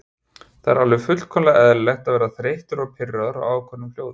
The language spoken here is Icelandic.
Það er alveg fullkomlega eðlilegt að verða þreyttur og pirraður á ákveðnum hljóðum.